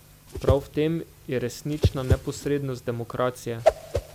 Prav v tem je resnična neposrednost demokracije.